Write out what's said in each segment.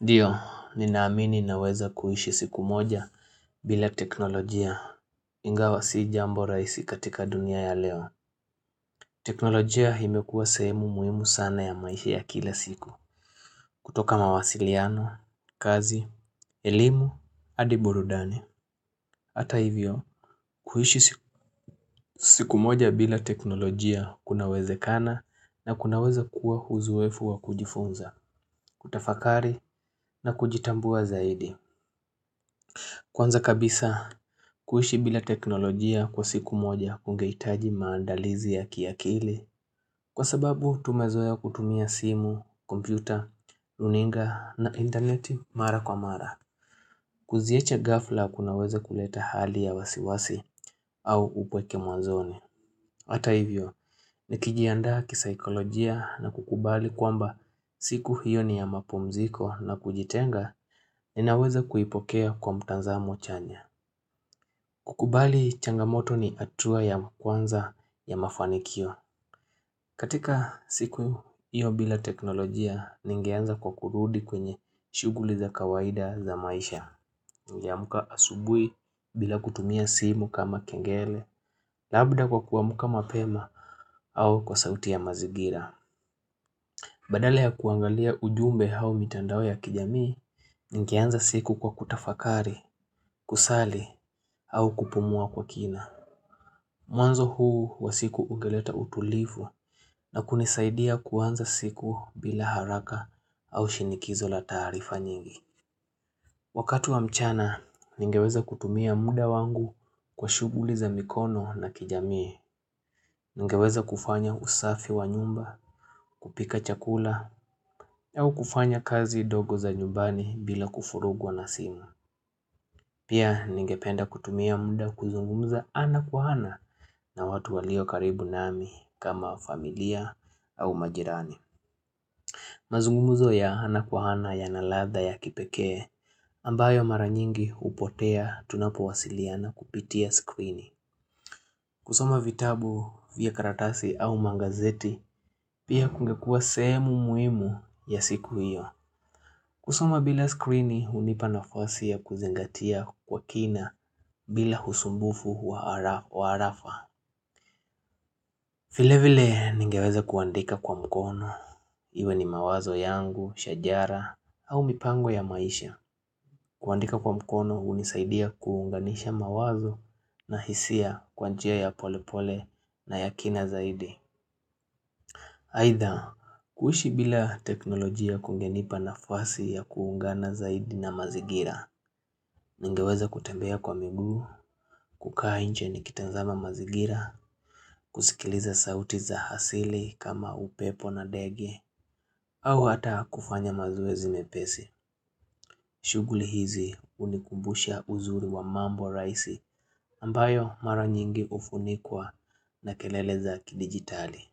Ndiyo, ninaamini na weza kuhishi siku moja bila teknolojia ingawa si jambo raisi katika dunia ya leo. Teknolojia imekua sehemu muimu sana ya maisha ya kila siku. Kutoka mawasiliano, kazi, elimu, adiburudani. Hata hivyo, kuhishi siku moja bila teknolojia kunaweze kana na kunaweza kuwa uzoefu wa kujifunza, kutafakari na kujitambua zaidi. Kwanza kabisa kuishi bila teknolojia kwa siku moja kungeitaji maandalizi ya kiakili Kwa sababu tumezoe ya kutumia simu, kompyuta, luninga na interneti mara kwa mara Kuziacha gafla kunaweza kuleta hali ya wasiwasi au upweke mwanzoni Hata hivyo ni kijianda kisaikolojia na kukubali kwamba siku hiyo ni ya mapumziko na kujitenga Ninaweza kuipokea kwa mtanzamo chanya changamoto ni atua ya mkwanza ya mafanikio. Katika siku hiyo bila teknolojia ningeanza kwa kurudi kwenye shuguli za kawaida za maisha. Ningeamuka asubui bila kutumia simu kama kengele, labda kwa kuamuka mapema au kwa sauti ya mazigira. Badala ya kuangalia ujumbe hau mitandao ya kijamii, ningeanza siku kwa kutafakari, kusali au kupumua kwa kina. Mwanzo huu wa siku ungeleta utulivu na kunisaidia kuanza siku bila haraka au shinikizo la taarifa nyingi. Wakati wa mchana, ningeweza kutumia muda wangu kwa shuguli za mikono na kijamii. Ningeweza kufanya usafi wa nyumba, kupika chakula, au kufanya kazi dogo za nyumbani bila kufurugwa nasimu. Pia ningependa kutumia muda kuzungumuza ana kwa ana na watu walio karibu nami kama familia au majirani. Mazungumuzo ya ana kwa ana ya naladha ya kipekee ambayo mara nyingi upotea tunapowasiliana kupitia skwini. Kusoma vitabu vya karatasi au mangazeti pia kungekua sehemu muhimu ya siku hiyo. Kusoma bila skrini unipa nafasi ya kuzingatia kwa kina bila husumbufu waarafa vilevile ningeweza kuandika kwa mkono Iwe ni mawazo yangu, shajara au mipango ya maisha kuandika kwa mkono unisaidia kuunganisha mawazo na hisia kwanjia ya polepole na ya kina zaidi Aitha kuishi bila teknolojia kungenipa nafasi ya kuungana zaidi na mazigira Ningeweza kutembea kwa miguu, kukainche nikitanzama mazigira, kusikiliza sauti za hasili kama upepo na dege, au hata kufanya mazoezi mepesi. Shuguli hizi unikumbusha uzuri wa mambo raisi ambayo mara nyingi ufunikwa na keleleza kidigitali.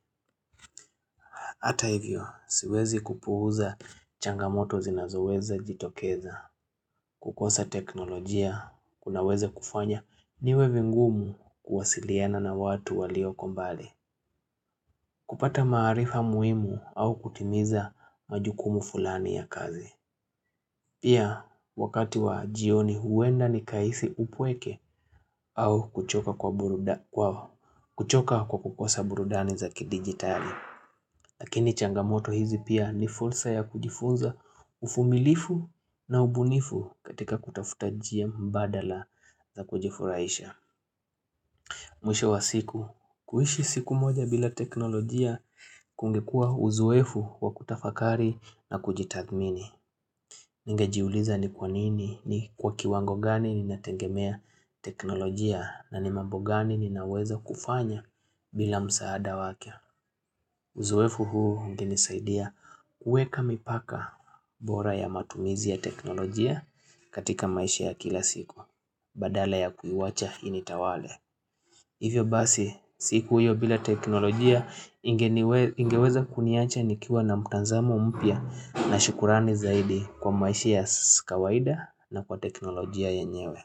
Hata hivyo, siwezi kupuuza changamoto zinazoweza jitokeza. Kukosa teknolojia, kunaweza kufanya niwe vingumu kuwasiliana na watu walio kombali. Kupata maarifa muimu au kutimiza majukumu fulani ya kazi. Pia, wakati wa jioni huenda ni kaisi upweke au kuchoka kwa kukosa burudani zaki digitali. Lakini changamoto hizi pia ni fulsa ya kujifunza ufumilifu na ubunifu katika kutafutajia mbadala za kujifuraisha. Mwisho wa siku, kuhishi siku moja bila teknolojia kungekuwa uzoefu wa kutafakari na kujitathmini. Ningejiuliza ni kwanini ni kwa kiwango gani ni natengemea teknolojia na nimambo gani ni naweza kufanya bila msaada wake. Uzoefu huu ungenisaidia kuweka mipaka bora ya matumizi ya teknolojia katika maisha ya kila siku Badala ya kuiwacha initawale Hivyo basi siku hiyo bila teknolojia ingeweza kuniacha nikiwa na mutanzamo mpya na shukurani zaidi kwa maisha ya sikawaida na kwa teknolojia yenyewe.